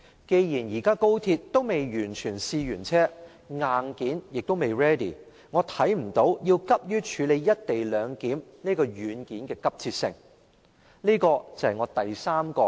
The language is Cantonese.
既然高鐵仍未試車完畢，硬件未 ready， 我看不到處理"一地兩檢"這軟件的急切性。